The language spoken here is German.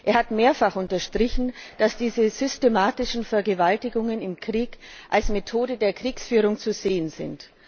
Er hat mehrfach unterstrichen, dass diese systematischen Vergewaltigungen im Krieg als Methode der Kriegsführung zu sehen sind.